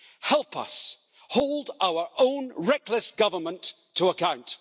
Help us hold our own reckless government to account.